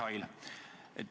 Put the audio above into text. Hea Mihhail!